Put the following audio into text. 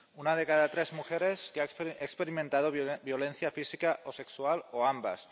una de cada tres mujeres que ha experimentado violencia física o sexual o ambas